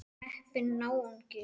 Heppinn náungi.